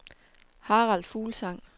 Harald Fuglsang